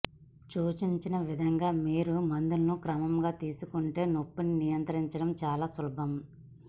సూచించిన విధంగా మీరు మందులను క్రమంగా తీసుకుంటే నొప్పిని నియంత్రించడం చాలా సులభం